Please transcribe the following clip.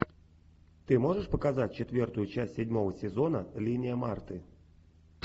ты можешь показать четвертую часть седьмого сезона линия марты